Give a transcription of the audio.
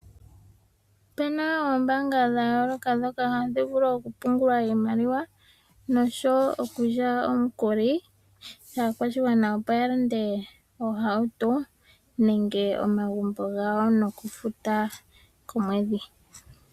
Opuna oombaanga dhayooloka ndhoka hadhi vulu okupunguwa iimaliwa, noshowo okulya omukuli kaakwashigwana opo yalande oohauto nenge omagumbo gawo nokufuta komwedhi.